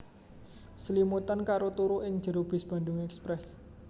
Slimutan karo turu ing jero bis Bandung Express